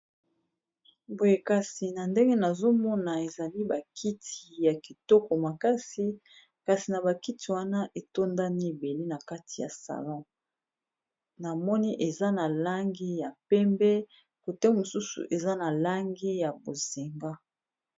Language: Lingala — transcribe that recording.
boyekasi na ndenge nazomona ezali bakiti ya kitoko makasi kasi na bakiti wana eza ebele na kati ya salon na moni eza na langi ya pembe kote mosusu eza na langi ya bozinga.